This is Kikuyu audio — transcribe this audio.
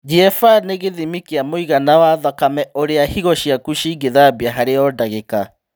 GFR nĩ gĩthimi kĩa mũigana wa thakame ũrĩa higo ciaku cingĩthambia harĩ o ndagĩka